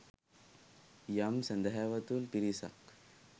යම් සැදැහැවතුන් පිරිසක්